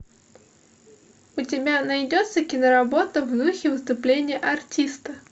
у тебя найдется киноработа в духе выступления артиста